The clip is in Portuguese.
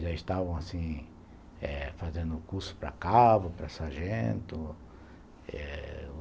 Já estavam assim fazendo o curso para cabo, para sargento eh...